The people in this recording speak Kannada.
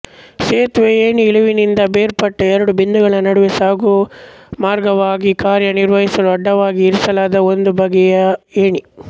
ಸೇತುವೆ ಏಣಿ ಇಳಿವಿನಿಂದ ಬೇರ್ಪಟ್ಟ ಎರಡು ಬಿಂದುಗಳ ನಡುವೆ ಸಾಗುಮಾರ್ಗವಾಗಿ ಕಾರ್ಯನಿರ್ವಹಿಸಲು ಅಡ್ಡವಾಗಿ ಇರಿಸಲಾದ ಒಂದು ಬಗೆಯ ಏಣಿ